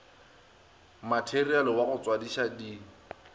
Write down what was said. materiale wa go tswadiša di